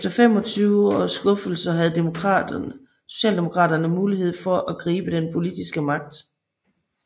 Efter 25 års skuffelser havde socialdemokraterne muligheden for at gribe den politiske magt